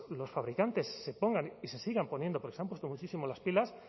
los fabricantes se pongan y se sigan poniendo porque se han puesto muchísimo las pilas